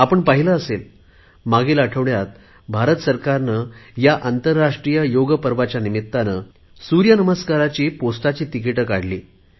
आपण पाहिले असेल मागील आठवड्यात भारत सरकारने ह्या आंतरराष्ट्रीय योगपर्वाच्या निमित्ताने सूर्य नमस्काराची टपाल तिकीटे काढली